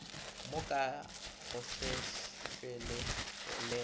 wo ka gohlegohle le ge